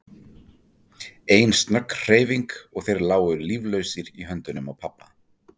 Ein snögg hreyfing og þeir lágu líflausir í höndunum á pabba.